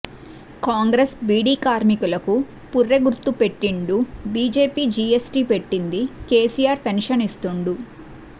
కాంగ్రెస్ బీడీ కార్మికులకు పూర్రె గుర్తు పెట్టిండు బిజెపి జీయస్టీ పెట్టింది కెసిఆర్ పెన్షన్ ఇస్తుండు